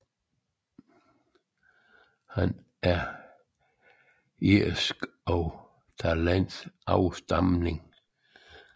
Han er af irsk og italiensk afstamning